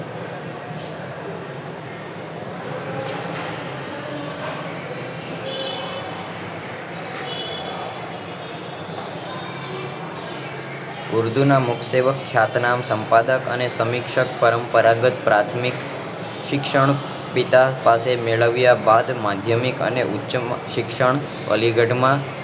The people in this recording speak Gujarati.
ઉર્દુ ના મુખ્યત્વે ખ્યાતનામ સંપાદક અને સમક્ષ પરંપરાગત પ્રાથમિક શિક્ષણ પીઠ તેમને મેળવ્યા બાદ માધ્યમિક અને ઉચ્ચમાધ્યમિક શિક્ષણ અલીગઢ માં